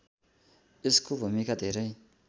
यसको भूमिका धेरै